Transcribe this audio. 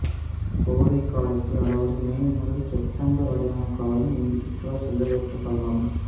கோடைக்காலத்தில் அதாவது மே முதல் செப்டம்பர் வரையான காலம் இங்கு சுற்றுலா செல்ல ஏற்ற காலமாகும்